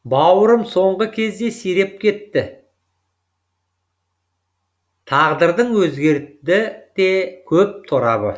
бауырым соңғы кезде сиреп кетті тағдырдың өзгерді де көп торабы